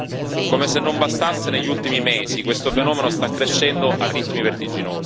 Come se non bastasse, negli ultimi mesi questo fenomeno sta crescendo a ritmi vertiginosi.